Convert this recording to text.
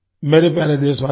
मेरे प्यारे देशवासियो